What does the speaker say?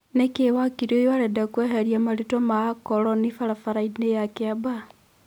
Nĩkĩ wakiri ũyũ arenda kũeheria marĩtwa ma-Akoroni barabaraini cia Kĩambaa?